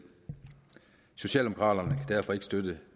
socialdemokraterne kan derfor ikke støtte